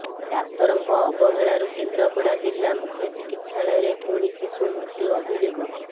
ଡାକ୍ତରଙ୍କ ଅବହେଳାରୁ କେନ୍ଦ୍ରାପଡା ଜିଲ୍ଲା ମୁଖ୍ୟ ଚିକିତ୍ସାଳୟରେ ପୁଣି ଶିଶୁ ମୃତ୍ୟୁ ଅଭିଯୋଗ